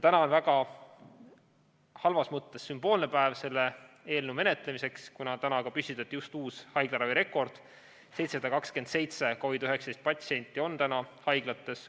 Täna on halvas mõttes väga sümboolne päev selle eelnõu menetlemiseks, kuna täna püstitati uus haiglaravi rekord – 727 COVID‑19 patsienti on haiglates.